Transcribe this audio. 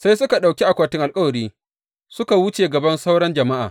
Sai suka ɗauki akwatin alkawari suka wuce gaban sauran jama’a.